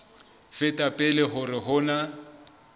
feta pele hore ho na